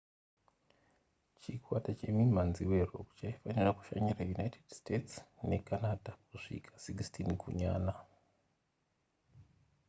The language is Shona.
chikwata chemimhanzi werock chaifanira kushanyira united states necanada kusvika 16 gunyana